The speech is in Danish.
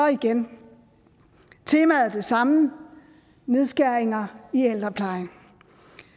igen temaet er det samme nedskæringer i ældreplejen